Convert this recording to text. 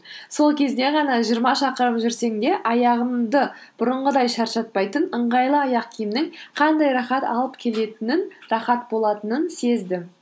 сол кезде ғана жиырма шақырым жүрсең де аяғымды бұрынғыдай шаршатпайтын ыңғайлы аяқ киімнің қандай рахат алып келетінін рахат болатынын сездім